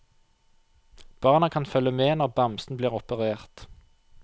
Barna kan følge med når bamsen blir operert.